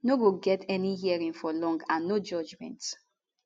no go get any hearing for long and no judgement